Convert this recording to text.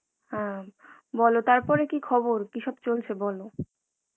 অ্যাঁ বলো তারপরে কি খবর কিসব চলছে বলো